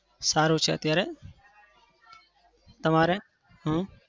સારું છે અત્યારે. તમારે? હમ